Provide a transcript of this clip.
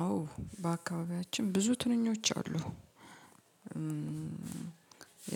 አዎ በአካባቢያችን ብዙ ትንኞች አሉ።